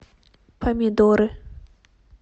помидоры